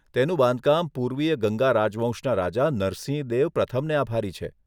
તેનું બાંધકામ પૂર્વીય ગંગા રાજવંશના રાજા નરસિંહદેવ પ્રથમને આભારી છે.